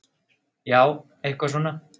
Já, eitthvað svona.